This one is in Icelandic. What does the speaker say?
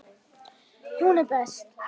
Hún er best.